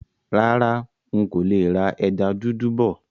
Rárá, ń kò lè rà ẹja dúdú bọ̀.